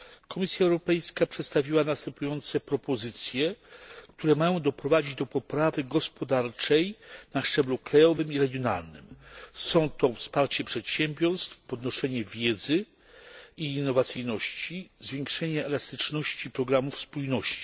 Komisja Europejska przedstawiła następujące propozycje, które mają doprowadzić do poprawy gospodarczej na szczeblu krajowym i regionalnym wsparcie przedsiębiorstw, podnoszenie wiedzy i innowacyjności, zwiększenie elastyczności programów spójności.